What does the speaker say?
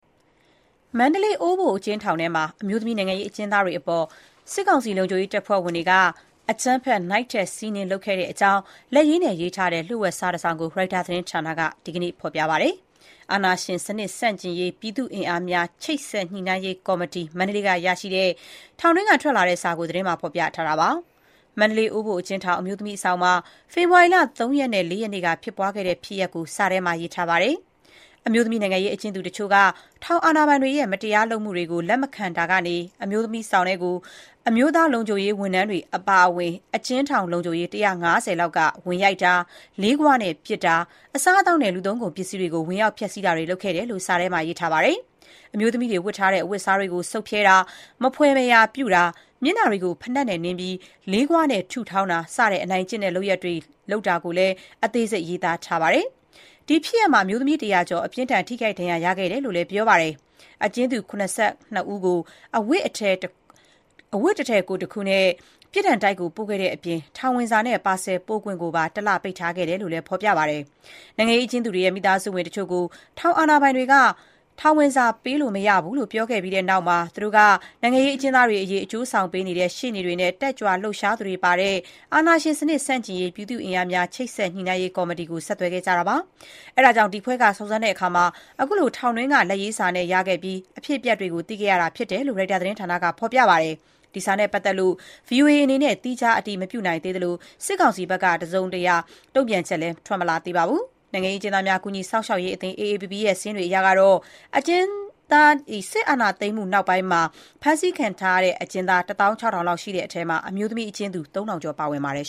မန္တလေး အိုးဘိုအကျဉ်းထောင်ထဲမှာ အမျိုးသမီး နိုင်ငံရေးအကျဉ်းသားတွေအပေါ် စစ်ကောင်စီ လုံခြုရေးတပ်ဖွဲ့ဝင်တွေက အကြမ်းဖက် နိုင့်ထက်စီးနင်းလုပ်ခဲ့တဲ့အကြောင်း လက်ရေးနဲ့ရေးထားတဲ့ လျှို့ဝှက် စာတစောင်ကို ရိုက်တာသတင်းက ဒီကနေ့ ဖော်ပြလိုက်ပါတယ်။ အာဏာရှင်စနစ် ဆန့်ကျင်ရေး ပြည်သူ့အင်အားများ ချိတ်ဆက်ညှိနှိုင်းရေး ကော်မတီ (မန္တလေး) ကရရှိတဲ့ ထောင်တွင်းက ထွက်လာတဲ့စာကို သတင်းမှာ ဖော်ပြထားပါတယ်။ မန္တလေး အိုဘိုအကျဉ်းထောင် အမျိုးသမီးအဆောင်မှာ ဖေဖော်ဝါရီလ ၃ ရက်နဲ့ ၄ ရက်နေ့ကဖြစ်ပွားခဲ့တဲ့ ဖြစ်ရပ်ကို စာထဲမှာ ရေးသားထားပါတယ်။ အမျိုးသမီးနိုင်ငံရေးအကျဉ်းသူတချို့က ထောင်အာဏာပိုင်တွေရဲ့ မတရားလုပ်မှုတွေကို လက်မခံတာကနေ အမျိုးသမီးဆောင်ထဲကို အမျိုးသားလုံခြုံရေး ဝန်ထမ်းတွေအပါအဝင် အကျဉ်းထောင် လုံခြုံရေး ၁၅၀ လောက်က ဝင်ရိုက်တာ၊ လေးဂွနဲ့ ပစ်တာ၊ အစားသောက်နဲ့ လူသုံးကုန် ပစ္စည်းတွေကို ဝင်ရောက် ဖျက်ဆီးတာတွေ လုပ်ခဲ့တယ်လို့ စာထဲမှာရေးထားပါတယ။ အမျိုးသမီးတွေ ဝတ်ထားတဲ့ အဝတ်အစားကို ဆုတ်ဖြဲတာ၊ မဖွယ်မရာ ပြုတာ၊ မျက်နှာတွေကို ဖိနပ်နဲ့နင်းပြီး လေးဂွနဲ့ ထုထောင်းတာ စတဲ့ အနိုင်ကျင့်တဲ့ လုပ်ရပ်တွေကို လုပ်ခဲ့တာကိုလည်း အသေးစိတ်ရေးထားပါတယ်။ ဒီဖြစ်ရပ်မှာ အမျိုးသမီး ၁၀၀ ကျော် အပြင်းအထန် ထိခိုက်ဒဏ်ရာရခဲ့တယ်လို့ ပြောပါတယ်။ အကျဉ်းသူ ၇၂ ဦးကို အဝတ်တစ်ထည် ကိုယ်တခုနဲ့ ပြစ်ဒဏ်တိုက်ကို ပို့ခဲ့တဲ့အပြင် ထောင်ဝင်စာနဲ့ ပါဆယ်ပေးပို့ခွင့်ကိုပါ ၁ လပိတ်ထားခဲ့တယ်လို့ ဖော်ပြထားပါတယ်။ နိုင်ငံရေးအကျဉ်သူတွေရဲ့ မိသားစုဝင်တချို့ကို ထောင်အာဏာပိုင်တွေက ထောင်ဝင်စာပေးလို့မရဘူးလို့ ပြောခဲ့ပြီးနောက်မှာ သူတို့က နိုင်ငံရေးအကျဉ်းသားတွေအကျိုးဆောင်ပေးနေတဲ့ ရှေ့နေတွေနဲ့ တက်ကြွလှုပ်ရှားသူတွေပါတယ် အာဏာရှင်စနစ် ဆန့်ကျင်ရေး ပြည်သူ့အင်အားများ ချိတ်ဆက်ညှိနှိုင်းရေး ကော်မတီကို ဆက်သွယ်ခဲ့ကြပါတယ်။ အဲဒါကြောင့် ဒီအဖွဲ့က စုံစမ်းတဲ့အခါ ခုလို ထောင်တွင်းက လက်ရေးစာကို ရခဲ့ပြီး အဖြစ်အပျက်တွေ သိခဲ့ရတာဖြစ်တယ်လို့ ရိုက်တာသတင်းက ပြောပါတယ်။ ဒီစာနဲ့ပါတ်သက်လို့ ဗွီအိုအေ အနေနဲ့ သီးခြား အတည်မပြုနိုင်သေးသလို၊ စစ်ကောင်စီဘက်က တုံ့ပြန်ချက် တစုံတရာ ထွက်မလာသေးပါဘူး။ နိုင်ငံရေးအကျဉ်းသားများ ကူညီစောင့်ရှောက်ရေး AAPP ရဲ့ စာရင်းတွေအရ အကျဉ်းသား စစ်အာဏာသိမ်းပြီးနောက်ပိုင်း ဖမ်းဆီးခံထားရသူ တသောင်း ခြောက်ထောင်လောက် ရှိတဲ့အထဲမှာ အမျိုးသမီး အကျဉ်းသူ ၃၀၀၀ ကျော်ပါဝင်ပါတယ်